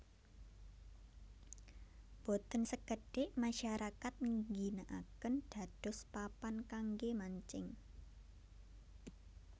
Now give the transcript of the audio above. Boten sekedik masyarakat ngginakaken dados papan kangge mancing